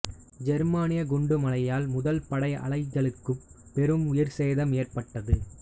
ஜெர்மானிய குண்டுமழையால் முதல் படை அலைகளுக்குப் பெரும் உயிர்ச்சேதம் ஏற்பட்டது